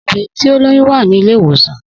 Obìnrin tí ó lóyún wà ní ilé ìwòsàn